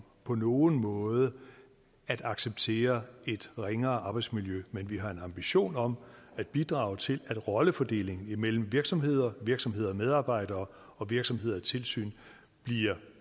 på nogen måde at acceptere et ringere arbejdsmiljø men vi har en ambition om at bidrage til at rollefordelingen imellem virksomheder virksomheder og medarbejdere og virksomheder og tilsyn bliver